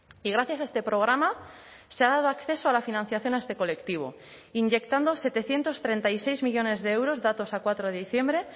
y gracias a este programa se ha dado acceso a la financiación a este colectivo inyectando setecientos treinta y seis millónes de euros datos a cuatro de diciembre